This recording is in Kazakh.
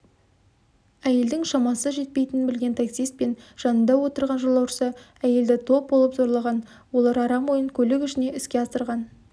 әйелдің шамасы жетпейтінін білген таксист пен жанында отырған жолаушысы әйелді топ болып зорлаған олар арам ойын көлік ішіне іске асырған